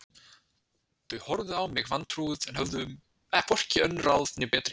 Þau horfðu á mig vantrúuð en höfðu hvorki önnur ráð né betri